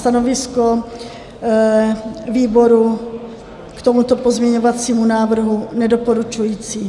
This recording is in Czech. Stanovisko výboru k tomuto pozměňovacímu návrhu: Nedoporučující.